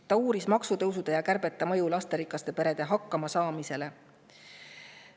Ta uuris maksutõusude ja kärbete mõju lasterikaste perede.